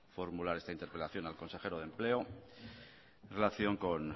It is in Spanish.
formular esta interpelación al consejero de empleo en relación con